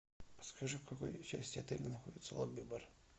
скажи в какой части отеля находится лонгби бар